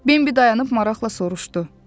Bimbi dayanıb maraxla soruşdu.